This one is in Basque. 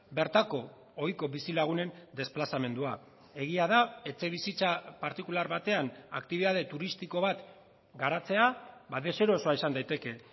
bertako ohiko bizilagunen desplazamendua egia da etxebizitza partikular batean aktibitate turistiko bat garatzea ba deserosoa izan daiteke